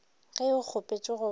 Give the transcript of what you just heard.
ge o kgopetše go ba